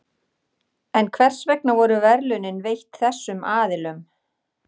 En hvers vegna voru verðlaunin veitt þessum aðilum?